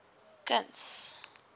kuns